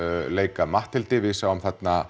leika Matthildi við sáum þarna